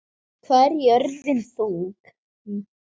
Hvað er jörðin þung?